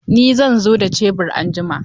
Ni zan zo da shebur anjima.